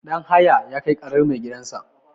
Danhaya ya Kai ƙarar maigidansa.